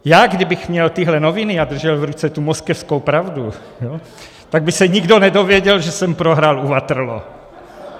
Já kdybych měl tyhle noviny a držel v ruce tu Moskevskou pravdu, tak by se nikdo nedozvěděl, že jsem prohrál u Waterloo.